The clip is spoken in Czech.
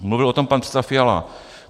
Mluvil o tom pan předseda Fiala.